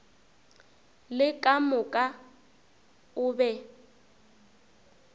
le ka moka o be